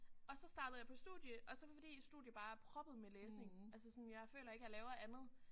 Og så startede jeg på studie og så fordi studie bare er proppet med læsning altså sådan jeg føler ikke jeg laver andet